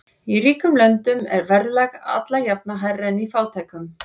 Í ríkum löndum er verðlag alla jafna hærra en í fátækum.